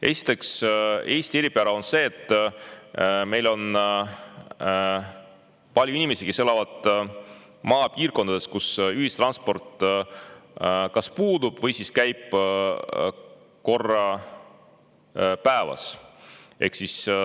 Esiteks, Eesti eripära on see, et meil on palju inimesi, kes elavad maapiirkondades, kus ühistransport kas puudub või käib korra päevas.